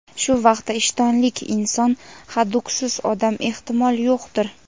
shu vaqtda ishtonlik inson — haduksiz odam ehtimol yo‘qdir.